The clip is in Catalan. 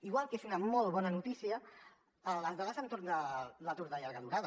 igual que és una molt bona notícia les dades a l’entorn de l’atur de llarga durada